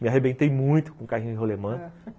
Me arrebentei muito com o carrinho em rolimã, ãh